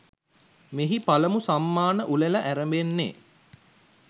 මෙහි පළමු සම්මාන උළෙල ඇරඹෙන්නේ.